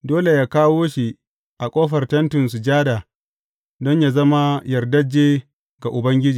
Dole yă kawo shi a ƙofar Tentin Sujada don yă zama yardajje ga Ubangiji.